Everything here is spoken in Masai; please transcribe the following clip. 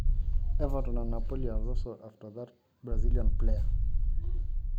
kegira sininye Everton o Napoli aing'oru ilo adalani lenkop ebrasil